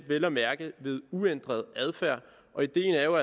vel at mærke ved uændret adfærd og ideen er jo